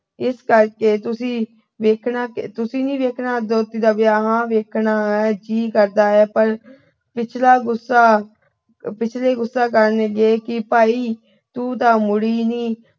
ਇਸ ਕਰਕੇ ਤੁਸੀਂ ਵੇਖਣਾ ਅਹ ਤੁਸੀਂ ਨੀ ਵੇਖਣਾ ਦੋਹਤੀ ਦਾ ਵਿਆਹ। ਹਾਂ ਵੇਖਣਾ ਹੈ ਜੀ ਕਰਦਾ ਪਰ ਪਿਛਲਾ ਗੁੱਸਾ ਅਹ ਪਿਛਲੇ ਗੁੱਸਾ ਕਰਨਗੇ ਕਿ ਭਾਈ ਤੂੰ ਤਾਂ ਮੁੜੀ ਨੀ।